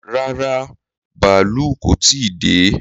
Rárá, bàálù kò tí ì dé